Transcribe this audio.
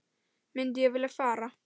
Myndi ég vilja fara?